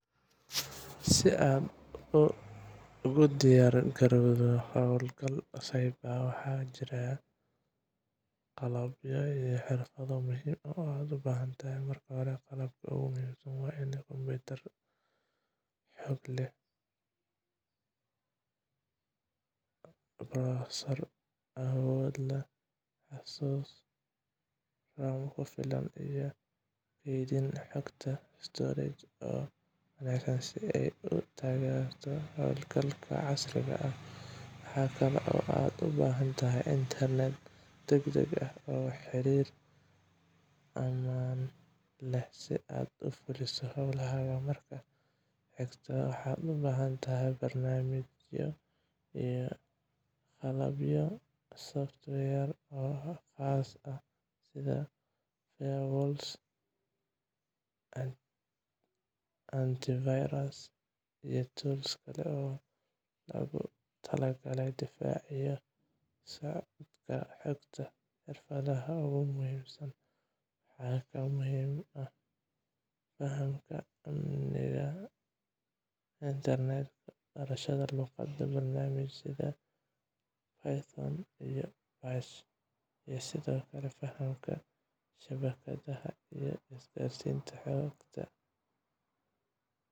Si aad ugu diyaar garowdo hawlgal cyber, waxaa jira qalabyo iyo xirfado muhiim ah oo aad u baahan tahay. Marka hore, qalabka ugu muhiimsan waa kombiyuutar xoog leh oo leh processor awood badan, xasuus (RAM) ku filan, iyo kaydinta xogta (storage) oo wanaagsan si ay u taageerto hawlgallada casriga ah. Waxa kale oo aad u baahan tahay internet degdeg ah iyo xiriir ammaan ah si aad u fuliso hawlahaaga. Marka xigta, waxaad u baahan tahay barnaamijyo iyo qalabyo software oo khaas ah sida firewalls, antivirus, iyo tools kale oo loogu talagalay difaaca iyo la socodka xogta. Xirfadaha ugu muhiimsan waxaa ka mid ah fahamka amniga internetka, barashada luuqadaha barnaamijyada sida Python iyo Bash, iyo sidoo kale fahamka shabakadaha iyo isgaarsiinta xogta